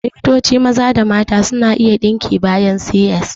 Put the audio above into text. Likitoci maza da mata suna iya yin ɗinki bayan C.S